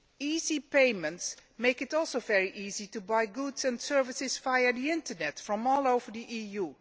Easy payments also make it very easy to buy goods and services via the internet from all over the EU.